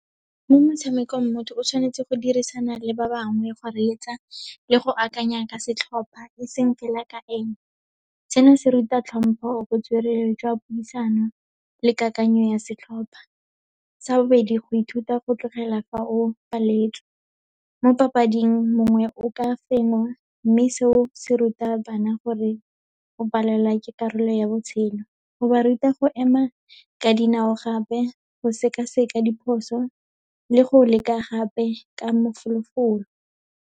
Mo motshamekong motho o tshwanetse go dirisana le ba bangwe, go reetsa le go akanya ka setlhopha, e seng fela ka ene. Seno se ruta hlompho, botswerere jwa puisano le kakanyo ya setlhopha. Sa bobedi, go ithuta go tlogela fa o paletswe. Mo papading, mongwe o ka fengwa, mme seo se ruta bana gore go palelwa ke karolo ya botshelo. O ba ruta go ema ka dinao gape, go seka-seka diphoso le go leka gape ka mafolofolo.